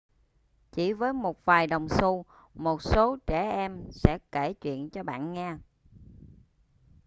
chỉ với một vài đồng xu một số trẻ em sẽ kể chuyện cho bạn nghe